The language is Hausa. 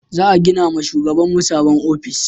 Za gina ma shugaban mu sabon ofis